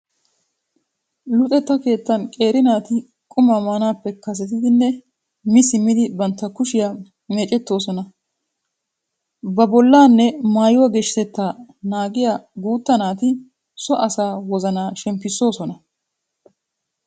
Luxetta keettan qeeri naati qumaa maanaappe kasetidinne mi simmdi bantta kushiyaa meecettoosona. Ba bollaanne maayuwa geeshshatettaa naagiya guutta naati so asaa wozanaa shemppissoosona.